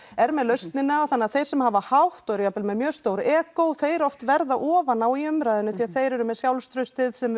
er með lausnina þannig að þeir sem hafa hátt og eru jafnvel með mjög stór egó þeir oft verða ofan á í umræðunni því að þeir eru með sjálfstraustið